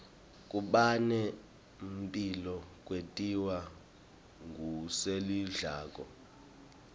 kubane mphilo kwentiwa ngulesikudlako